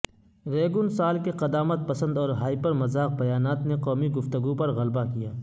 Reagan سال کے قدامت پسند اور ہائپر مذاق بیانات نے قومی گفتگو پر غلبہ کیا